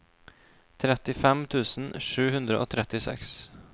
trettifem tusen sju hundre og trettiseks